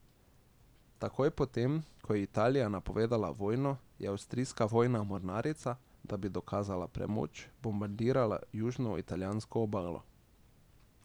Takoj potem, ko je Italija napovedala vojno, je avstrijska vojna mornarica, da bi dokazala premoč, bombardirala južno italijansko obalo.